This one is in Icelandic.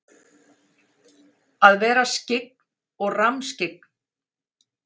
Að vera skyggn og rammskyggn?